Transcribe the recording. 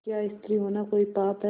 क्या स्त्री होना कोई पाप है